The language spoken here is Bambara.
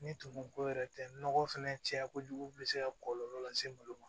Ni tumuko yɛrɛ tɛ nɔgɔ fɛnɛ caya kojugu bɛ se ka kɔlɔlɔ lase ma olu ma